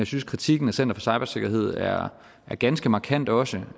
synes kritikken af center for cybersikkerhed er ganske markant også